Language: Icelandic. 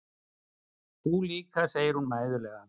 Þú líka, segir hún mæðulega.